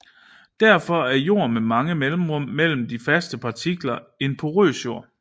Derfor er en jord med mange mellemrum mellem de faste partikler en porøs jord